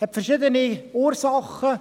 – Dies hat verschiedene Ursachen.